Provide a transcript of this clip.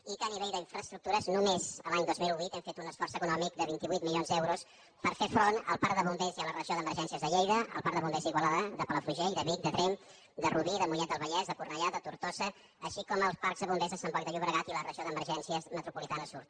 i que a nivell d’infraestructures només l’any dos mil vuit hem fet un esforç econòmic de vint vuit milions d’euros per fer front al parc de bombers i a la regió d’emergències de lleida als parcs de bombers d’igualada de palafrugell de vic de tremp de rubí de mollet del vallès de cor·nellà de tortosa així com el parc de bombers de sant boi de llobregat i la regió d’emergències metropoli·tana sud